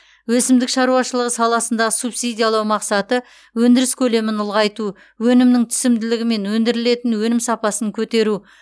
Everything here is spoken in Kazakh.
өсімдік шаруашылығы саласындағы субсидиялау мақсаты өндіріс көлемін ұлғайту өнімнің түсімділігі мен өндірілетін өнім сапасын көтеру